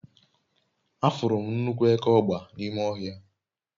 afuru m nnukwu eke ogba n'ime ohia